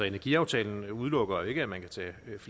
energiaftale